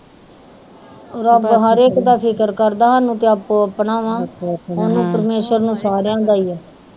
ਰੱਬ ਹਰ ਇਕ ਦਾ ਫਿਕਰ ਕਰਦਾ ਸਾਨੂੰ ਤਾ ਆਪੋ ਆਪਣਾ ਵਾ ਓਹਨੂੰ ਪਰਮੇਸ਼ਰ ਨੂੰ ਸਾਰਿਆਂ ਦਾ ਈ ਆ